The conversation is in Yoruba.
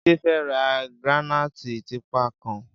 Jide fè rà grànaiti tìpá kán